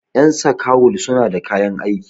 yan sakawul suna da kayan aiki